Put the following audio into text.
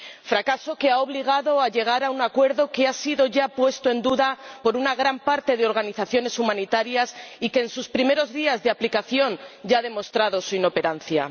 Fracaso que ha obligado a llegar a un acuerdo que ya ha sido puesto en duda por una gran parte de las organizaciones humanitarias y que en sus primeros días de aplicación ya ha demostrado su inoperancia.